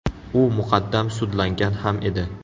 U muqaddam sudlangan ham edi.